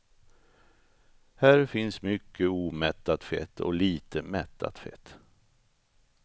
Här finns mycket omättat fett och lite mättat fett.